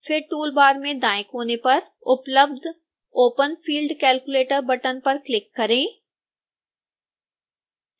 फिर tool bar में दाएं कोने पर उपलब्ध open field calculator बटन पर क्लिक करें